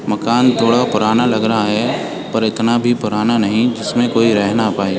मकान थोड़ा पुराना लग रहा है पर इतना भी पुराना नहीं जिस में कोई रह ना पाए।